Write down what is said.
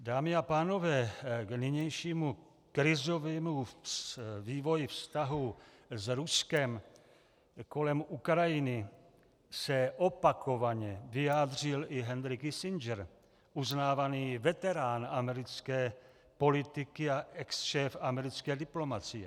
Dámy a pánové, k nynějšímu krizovému vývoji vztahů s Ruskem kolem Ukrajiny se opakovaně vyjádřil i Henry Kissinger, uznávaný veterán americké politiky a exšéf americké diplomacie.